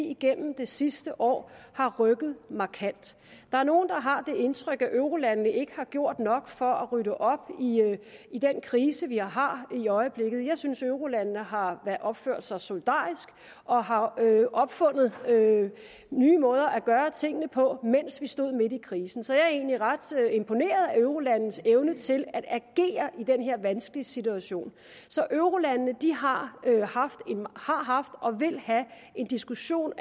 igennem de sidste år har rykket markant der er nogle der har det indtryk at eurolandene ikke har gjort nok for at rydde op i den krise vi har i øjeblikket jeg synes at eurolandene har opført sig solidarisk og har opfundet nye måder at gøre tingene på mens vi stod midt i krisen så jeg er egentlig ret imponeret af eurolandenes evne til at agere i den her vanskelige situation så eurolandene har haft og vil have en diskussion